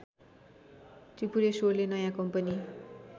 त्रिपुरेश्वरले नयाँ कम्पनी